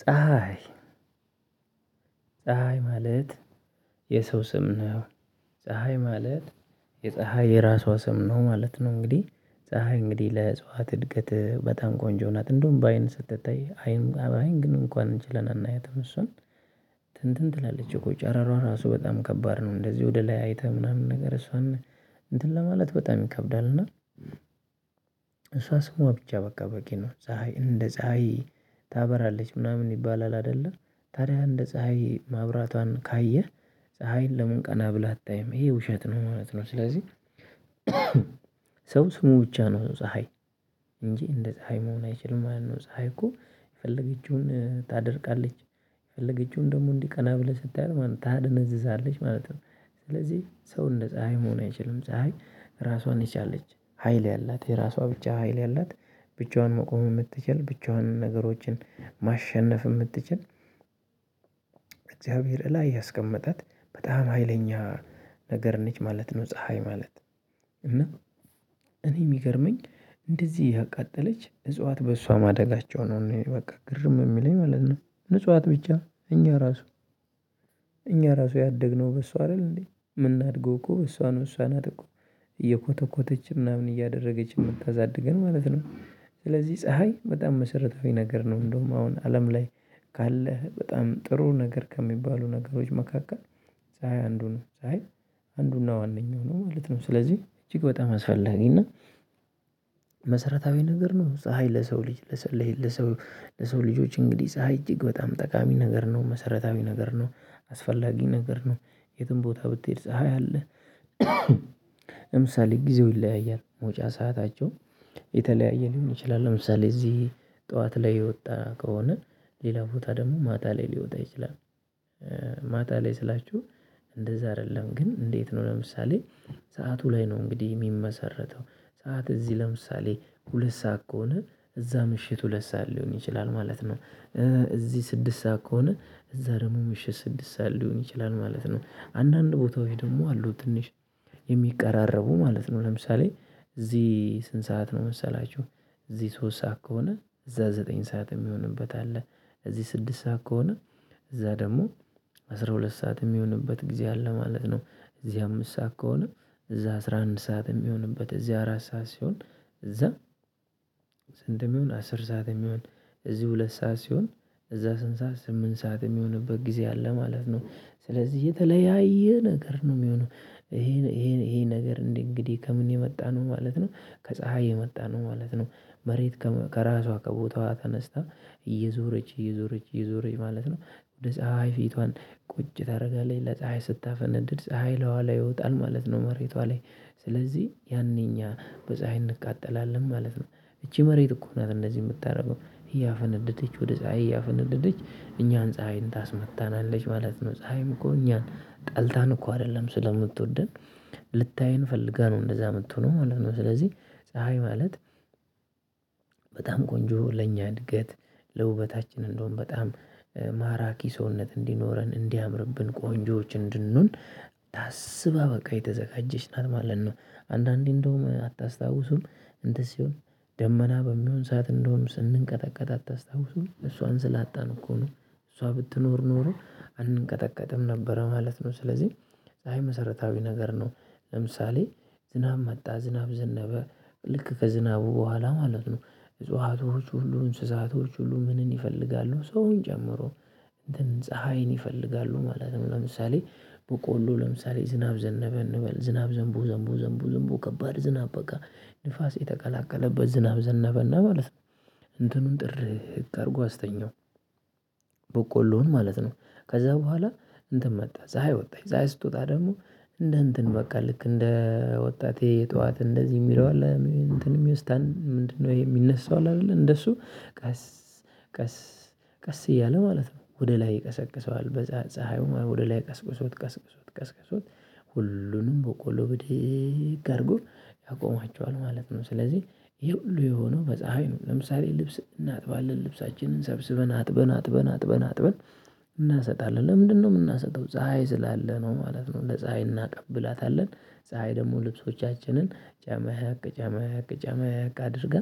ፀሀይ ፀሀይ ማለት የሰው ስም ነው። ፀሀይ ማለት የፀሀይ የራሷ ስም ነው ማለት ነው። እንግዲህ ፀሀይ እንግዲህ ለእጽዋት እድገት በጣም ቆንጆ ናት እንደውም በአይን ስትታይ አይን ግን እንኳን ችለን አናያትም እሷን እንትን ትላለች እኮ ጨራሯ ራሱ በጣም ከባድ ነው። እንደዚህ ወደ ላይ አይተህ ምናምን ነገር እሷን እንትን ለማለት በጣም ይከብዳልና። እና እሷ ስሟ ብቻ በቃ በቂ ነው። ፀሀይ እንደ ፀሀይ ታበራለች ምናምን ይባላል። አይደለ ታዲያ እንደ ፀሀይ ማብራቷን ካየህ ፀሀይን ለምን ቀና ብላ አታይም ይሄ ውሸት ነው። ማለት ነው። ስለዚህ ሰው ስሙ ብቻ ነው ፀሀይ እንጂ እንደ ፀሀይ መሆን አይችልም ማለት ነው። ፀሀይ እኮ የፈለገችውን ታደርቃለች። የፈለገችውን ደግሞ እንዲህ ቀና ብለህ ስታያት ማለት ነው ታደነዝዛለች ማለት ነው። ስለዚህ ሰው እንደ ፀሀይ መሆን አይችልም ፀሀይ ራሷን የቻለች ሀይል ያላት የራሷ ብቻ ሀይል ያላት ብቻዋን መቆም ምትችል ብቻዋንን ነገሮችን ማሸነፍ ምትችል። እግዚአብሔር እላይ ያስቀመጣት በጣም ሀይለኛ ነገር ነች ማለት ነው። ፀሀይ ማለት እና እኔ ሚገርመኝ እንደዚህ እያቃጠለች እጽዋት በእሷ ማደጋቸው ነው እኔ በቃ ግርም የሚለኝ ማለት ነው። እጽዋት ብቻ እኛ ራሱ እኛ ራሱ ያደግነው በሷ አይደል እንዴ? የምናድገው እኮ እሷን እሷን እኮ እየኮተኮተችን ምናምን እያደረገች የምታሳድገን ማለት ነው። ስለዚህ ፀሀይ በጣም መሰረታዊ ነገር ነው። እንደውም አሁን አለም ላይ ካለህ በጣም ጥሩ ነገር ከሚባሉ ነገሮች መካከል ፀሀይ አንድ ሆነች ፀሀይ አንዱና ዋነኛው ነው ማለት ነው። ስለዚህ እጅግ በጣም አስፈላጊ እና መሰረታዊ ነገር ነው። ፀሀይ ለሰው ልጅ ለሰው ለሰው ለሰው ልጆች እንግዲህ ፀሀይ እጅግ በጣም ጠቃሚ ነገር ነው መሰረታዊ ነገር ነው። አስፈላጊ ነገር ነው። የትም ቦታ ብትሄድ ፀሀይ አለ። ለምሳሌ ጊዜው ይለያያል መውጫ ሰአታቸው የተለያየ ሊሆን ይችላል ለምሳሌ እዚህ ጠዋት ላይ የወጣ ከሆነ ሌላ ቦታ ደግሞ ማታ ላይ ሊወጣ ይችላል። ማታ ላይ ስላችሁ እንደዛ አይደለም ግን እንዴት ነው? ለምሳሌ ሰዓቱ ላይ ነው እንግዲህ ሚመሰረተው ሰዓት እዚህ ለምሳሌ ሁለት ሰዓት ከሆነ እዛ ምሽት ሁለት ሰዓት ሊሆን ይችላል ማለት ነው። እዚህ ስድስት ሰዓት ከሆነ እዛ ደግሞ ምሽት ስድስት ሰዓት ሊሆን ይችላል ማለት ነው። አንዳንድ ቦታው ደግሞ አሉ ትንሽ የሚቀራረቡ ማለት ነው። ለምሳሌ እዚህ ስንት ሰዓት ነው መሰላችሁ? እዚህ ሶስት ሰዓት ከሆነ እዛ ዘጠኝ ሰዓት የሚሆንበት አለ። እዚህ ስድስት ሰዓት ከሆነ እዛ ደግሞ አስራ ሁለት ሰዓት ሚሆንበት ጊዜ አለ ማለት ነው። እዚህ አምስት ሰዓት ከሆነ እዛ አስራ አንድ ሰዓት ሚሆንበት እዚህ አራት ሰዓት ሲሆን እዛ ስንት የሚሆን አስር ሰዓትም ይሁን እዚህ ሁለት ሰዓት ሲሆን እዛ ስንት ሰዓት ስምንት ሰዓት የሚሆንበት ጊዜ አለ ማለት ነው። ስለዚህ የተለያየ ነገር ነው ሚሆነው ይሄ ይሄ ይሄ ነገር እንዴ እንግዲህ ከምን የመጣ ነው ማለት ነው። ከፀሀይ የመጣ ነው ማለት ነው። መሬት ከራሷ ከቦታዋ ተነስታ እየዞረች እየዞረች እዞረች ማለት ነው ወደ ፀሀይ ፊቷን ቁጭ ታደርጋለች ለፀሀይ ስታፈነድድ ፀሀይ ላይዋ ላይ ይወጣል ማለት ነው። መሬቷ ላይ ስለዚህ ያኔ እኛ በፀሀይ እንቃጠላለን ማለት ነው። እቺ መሬት እኮ ናት እንደዚህ የምታደርገው ያፈነደደች ወደ ፀሀይ ያፈነደደች እኛን ፀሀይን ታስመታናለች ማለት ነው። ፀሀይም እኮ እኛን ጠልታን እኮ አይደለም ስለምትወደን ልታየን ፈልጋ ነው እንደዛ የምትሆነው ማለት ነው። ስለዚህ ፀሀይ ማለት በጣም ቆንጆ ለኛ እድገት ለውበታችን እንደሆን በጣም ማራኪ ሰውነት እንዲኖረን እንዲያምርብን ቆንጆዎች እንድንሆን ታስባ በቃ የተዘጋጀች ናትማለት ነው። አንዳንዴ እንደውም አታስታውሱም እንደዚህ ሲሆን ደመና በሚሆን ሰዓት እንደውም ስንቀጠቀጥ አታስታውሱም እሷን ስላጣን እኮ ነው። እሷ ብትኖር ኖሮ አንቀጠቀጥም ነበረ ማለት ነው። ስለዚህ ፀሀይ መሰረታዊ ነገር ነው። ለምሳሌ ዝናብ መጣ ዝናብ ዘነበ ልክ ከዝናቡ በኋላ ማለት ነው። እጽዋቶች ሁሉ እንስሳቶች ሁሉ ምንን ይፈልጋሉ ሰውን ጨምሮ እንትን ፀሀይን ይፈልጋሉ ማለት ነው። ለምሳሌ በቆሎ ለምሳሌ ዝናብ ዘነበ እንበል ዝናብ ዘንቦ ዘንቦ ዘንቦ ከባድ ዝናብ በቃ ንፋስ የተቀላቀለበት ዝናብ ዘነበ እና ማለት ነው። እንትኑን ጥር ህግ አድርጎ አስተኛው በቆሎን ማለት ነው። ከዛ በኋላ እንትን መጣ ፀሀይ ወጣች ፀሀይ ስትወጣ ደግሞ እንደ እንትን በቃ ልክ እንደ ወጣቴ የጠዋት እንደዚህ የሚለው አለ እንትን የሚወስድ ምንድነው? የሚነሳው አለ አይደለ እንደሱ ቀስ ቀስ ቀስ እያለ ማለት ነው። ወደ ላይ ይቀሰቅሰዋል በፀሀ ፀሀዩ ማለት ወደ ላይ ቀስቅሶት ቀስቅሶት ቀስቅሶት ሁሉንም በቆሎ ብድግ አድርጎ ያቆማቸዋል ማለት ነው። ስለዚህ ይሄ ሁሉ የሆነው በፀሀይ ነው። ለምሳሌ ልብስ እናጥባለን ልብሳችንን ሰብስበን አጥበን አጥበን አጥበን። እናሰጣለን ለምንድነው የምናሰጠው ፀሀይ ስላለን ነው። ማለት ነው። ለፀሀይ እናቀብላታለን ፀሀይ ደግሞ ልብሶቻችንን ጨመቅ ጨመቅ ጨመቅ አድርጋ